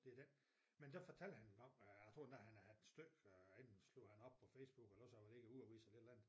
Det dén. Men der fortalte han om øh jeg tror endda han havde et styk enten slog han op på Facebook eller også var han ikke ude og vise et eller andet